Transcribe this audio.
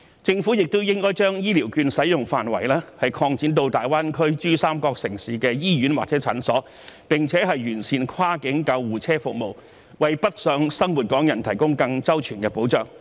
政府亦應該將醫療券使用範圍擴展至大灣區珠三角城市的醫院或診所，並且完善跨境救護車服務，為北上生活港人提供更周全的保障。